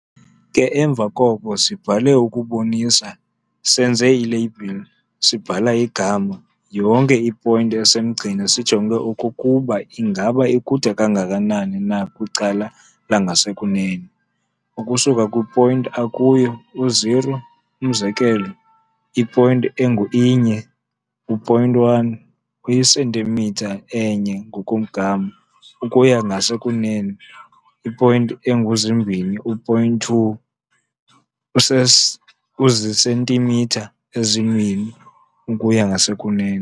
ke emva koko sibhale ukubonisa, senze i-label, sibhale igama, yonke i-point esemgceni sijonge okokuba ingaba ikude kangakanani na kwicala langasekunene ukusuka kwi-point akuyo u-0, umzekelo, i-point engu-inye, u-point one, uyi-centimeter enye ngokomgama ukuya ngasekunene, i-point engu-zimbini, u-point two, uzisentimitha ezimbini ukuya ngasekunene.